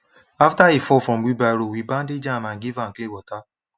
after e fall from wheelbarrow we bandage am and give am clean water